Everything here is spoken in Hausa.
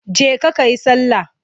Je ka ka yi sallah!